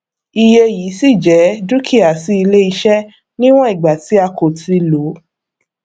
iye yii ṣí jẹ dúkìá sí iléiṣẹ níwọn ìgbà tí a kò ti lo